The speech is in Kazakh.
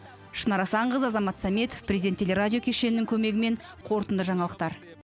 шынар асанқызы азамат саметов президент теле радио кешенінің көмегімен қорытынды жаңалықтар